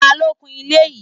Ta ló kun ilé yìí?